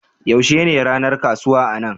Yaushe ne ranar kasuwa a nan?